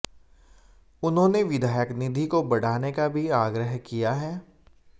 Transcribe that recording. उन्होंने विधायक निधि को बढ़ाने का भी आग्रह किया है